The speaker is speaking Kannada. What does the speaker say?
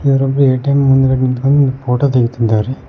ಇದರಲ್ಲಿ ಎ_ಟಿ_ಎಂ ಮುಂದ್ಗಡೆ ನಿಂತ್ಕೊಂಡ್ ಫೋಟೋ ತೆಗಿತ್ತಿದ್ದಾರೆ.